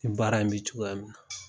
Ni baara in bi cogoya min na.